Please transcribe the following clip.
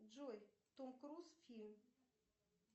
джой том круз фильм